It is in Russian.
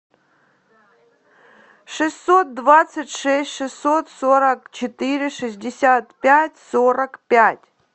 шестьсот двадцать шесть шестьсот сорок четыре шестьдесят пять сорок пять